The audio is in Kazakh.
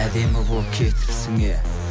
әдемі болып кетіпсің е